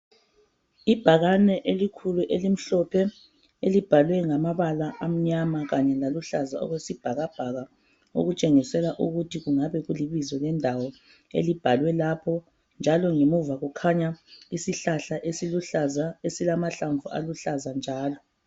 Ibhakane elikhulu elimhlophe elibhalwe ngamabala amnyama kanye laluhlaza okwesibhakabhaka okutshengisela ukuthi kungabe kulibizo lendawo elibhalwe lapho njalo ngemuva kukhanya isihlahla esiluhlaza esilamahlamvu aluhlaza njalo.